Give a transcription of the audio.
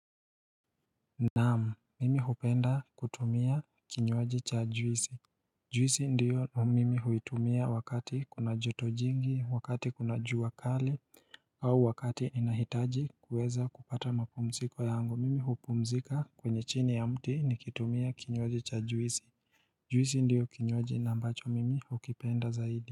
Naam, mimi hupenda kutumia kinywaji cha juisi Juisi ndiyo mimi huitumia wakati kuna joto jingi, wakati kuna jua kali au wakati inahitaji kuweza kupata mapumziko yangu, mimi hupumzika kwenye chini ya mti nikitumia kinywaji cha juisi Juisi ndiyo kinywaji na ambacho mimi hukipenda zaidi.